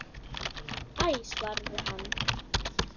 Æ svaraði hann.